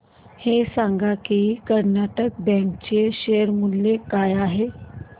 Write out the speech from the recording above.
हे सांगा की कर्नाटक बँक चे शेअर मूल्य काय आहे